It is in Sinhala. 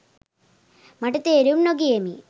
මට තේරුම් නොගියෙමි.